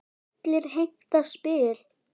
Allir heimta spil.